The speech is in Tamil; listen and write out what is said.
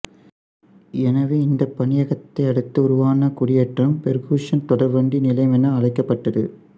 எனவே இந்தப் பணியகத்தை அடுத்து உருவான குடியேற்றம் பெர்குசன் தொடர்வண்டி நிலையம் என அழைக்கப்பட்டது